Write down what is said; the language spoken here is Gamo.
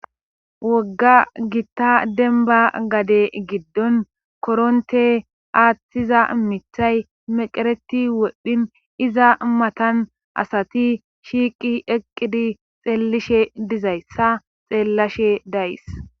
wogga gitta denba gade giddon koronte aaththiza mithay meqereti wodhpdhin iza matan asati shiiqi eqqidi xeellishe dizayssa xeellashe dayys